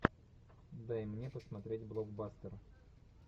дай мне посмотреть блокбастер